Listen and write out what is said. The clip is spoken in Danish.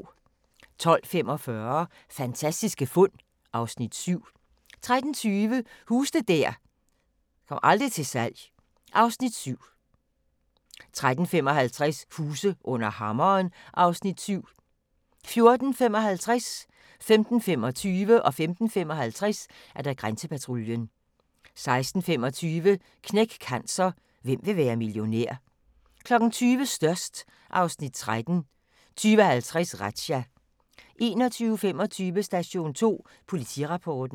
12:45: Fantastiske fund (Afs. 7) 13:20: Huse der aldrig kommer til salg (Afs. 7) 13:55: Huse under hammeren (Afs. 7) 14:55: Grænsepatruljen 15:25: Grænsepatruljen 15:55: Grænsepatruljen 16:25: Knæk Cancer: Hvem vil være millionær? 20:00: Størst (Afs. 13) 20:50: Razzia 21:25: Station 2 Politirapporten